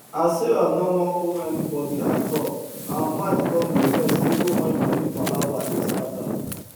as sarah no wan owe anybody at all her mind come dey rest even wen money palava dey scatter